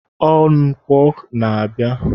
Ọ nkwọ na-abịa.